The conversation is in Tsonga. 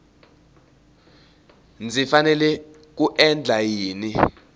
ndzi fanele ku endla yini